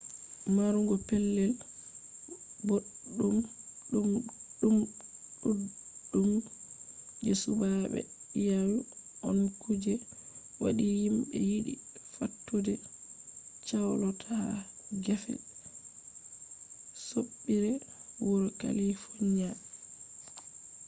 marugo pellel boɗɗum ɗuɗɗum je suɓaade iyalu on ku je waɗi himɓe yiɗi fattude chalot ha gefe soɓɓiire wuro kalifoniya